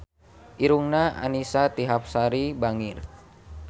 Irungna Annisa Trihapsari bangir